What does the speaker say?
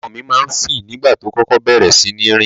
Ọmọ mi ma ń fì nígbà tó kókó bẹ̀rẹ̀ síní rìn.